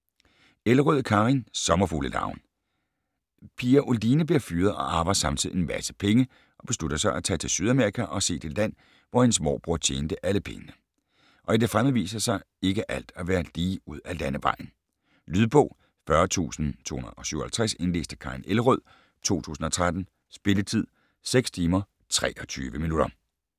Elrød, Karin: Sommerfuglearven Pia Oline bliver fyret og arver samtidig en masse penge og beslutter sig til at tage til Sydamerika og se det land, hvor hendes morbror tjente alle pengene. Og i det fremmede viser ikke alt sig at være lige ud af landevejen. Lydbog 40257 Indlæst af Karin Elrød, 2013. Spilletid: 6 timer, 23 minutter.